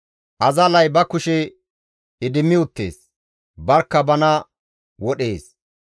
Azallay ba kushe idimmi uttees; barkka bana wodhees.